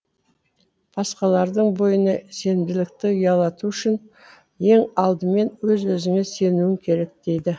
басқалардың бойына сенімділікті ұялату үшін ең алдымен өз өзіңе сенуін керек дейді